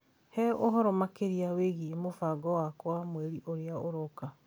He ũhoro makĩria wĩgiĩ mũbango wakwa wa mweri ũrĩa ũroka